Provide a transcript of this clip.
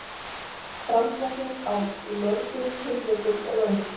Framsetning í mörgum tilvikum röng